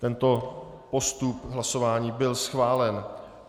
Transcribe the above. Tento postup hlasování byl schválen.